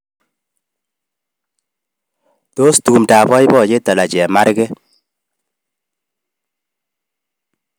Tos tumdo ab boiboyet anan chemarget